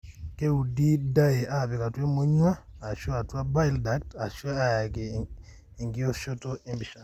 keudi dye apik atua emonyua ashu atua bile duct ashu eayai enkioshoto empisha.